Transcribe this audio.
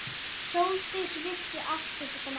Sóldís vissi allt um þetta mál.